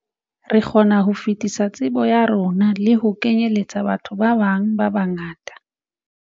Re kgona ho fetisa tsebo ya rona le ho kenyeletsa batho ba bang ba bangata."